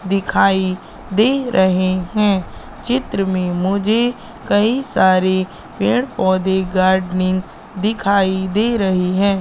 दिखाई दे रहे हैं चित्र में मुझे कई सारी पेड़-पौधे गार्डनिंग दिखाई दे रही है।